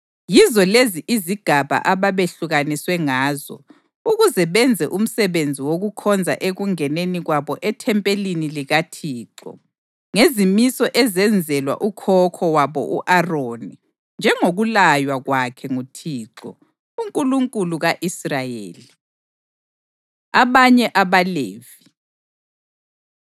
Yizo lezi izigaba ababehlukaniswe ngazo ukuze benze umsebenzi wokukhonza ekungeneni kwabo ethempelini likaThixo, ngezimiso ezenzelwa ukhokho wabo u-Aroni, njengokulaywa kwakhe nguThixo, uNkulunkulu ka-Israyeli. Abanye AbaLevi